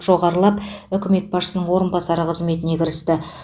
жоғарылып үкімет басшысының орынбасары қызметіне кірісті